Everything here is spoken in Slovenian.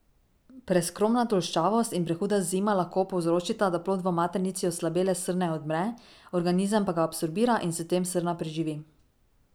Preskromna tolščavost in prehuda zima lahko povzročita, da plod v maternici oslabele srne odmre, organizem pa ga absorbira in s tem srna preživi.